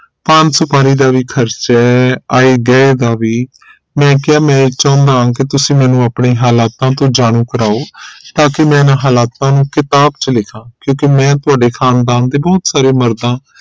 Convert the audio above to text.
ਪਾਨ ਸੁਪਾਰੀ ਦਾ ਵੀ ਖਰਚੇ ਹੈ ਆਏ ਗਏ ਦਾ ਵੀ ਮੈਂ ਕਿਹਾ ਮੈਂ ਚਾਹੁਣਾ ਕੀ ਤੁਸੀਂ ਮੰਨੂ ਆਪਣੇ ਹਾਲਾਤਾ ਤੋ ਜਾਨੂ ਕਰਵਾਓ ਤਾਕਿ ਮੈਂ ਇਹਨਾ ਹਾਲਾਤਾਂ ਨੂਂ ਕਿਤਾਬ ਚ ਲਿਖਾ ਕਿਉਂਕਿ ਮੈਂ ਤੁਹਾਡੇ ਖ਼ਾਨਦਾਨ ਦੇ ਬਹੁਤ ਸਾਰੇ ਮਰਦਾ